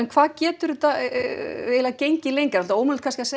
hvað getur þetta gengið lengi ómögulegt kannski að